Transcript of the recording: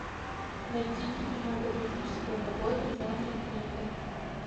найди кинематографическую работу в жанре триллер